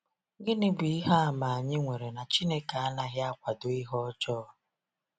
Gịnị bụ ihe àmà anyị nwere na Chineke anaghị akwado ihe ọjọọ?